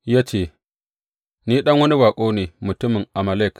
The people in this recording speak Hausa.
Ya ce, Ni ɗan wani baƙo ne, mutumin Amalek.